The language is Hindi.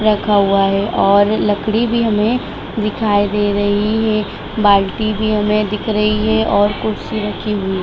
रखा हुआ है और लकड़ी भी हमे दिखाई दे रही है बाल्टी भी हमे दिख रही है और कुर्सी रखी हुई --